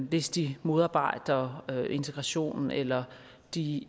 hvis de modarbejder integration eller de